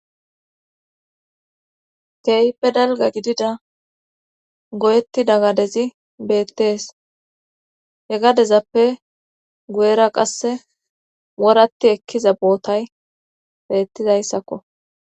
Keype dalga gidida goyetti dagadezi beettees hegadezappe guyera qasse woratti ekkiza bootay beettizayssakko.